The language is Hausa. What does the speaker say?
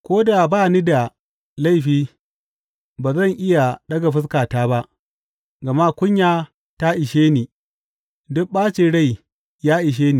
Ko da ba ni da laifi, ba zan iya ɗaga fuskata ba, gama kunya ta ishe ni duk ɓacin rai ya ishe ni.